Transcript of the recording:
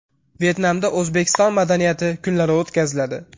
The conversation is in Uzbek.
Vyetnamda O‘zbekiston madaniyati kunlari o‘tkaziladi.